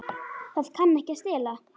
Það kann ekki að stela.